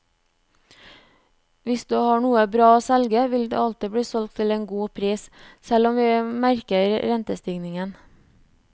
Hvis du har noe bra å selge, vil det alltid bli solgt til en god pris, selv om vi merker rentestigningen.